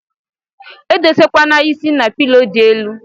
Edose kwana is na pilo di elu.